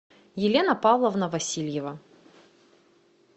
елена павловна васильева